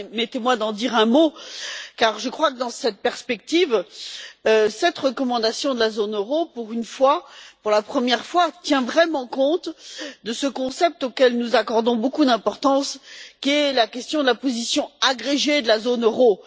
Permettez moi d'en dire un mot, car je crois que, dans cette perspective, cette recommandation pour la zone euro, pour une fois pour la première fois tient vraiment compte de ce concept auquel nous accordons beaucoup d'importance, à savoir la question de la position agrégée de la zone euro.